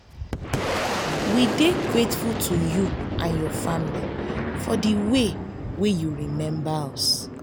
we dey grateful to you and your family for the way you remember us